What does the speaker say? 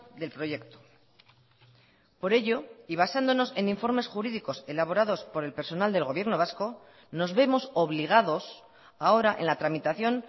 del proyecto por ello y basándonos en informes jurídicos elaborados por el personal del gobierno vasco nos vemos obligados ahora en la tramitación